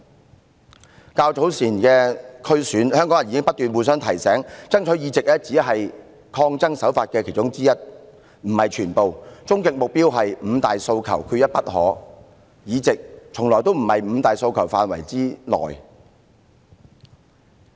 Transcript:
就較早前的區議會選舉，香港人已不斷互相提醒，爭取議席只是其中一種抗爭手法，終極目標是"五大訴求，缺一不可"，議席從來不在"五大訴求"範圍之內。